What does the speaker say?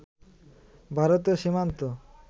ভারতীয় সীমান্ত